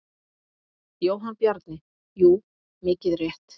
Jóhann Bjarni: Jú mikið rétt.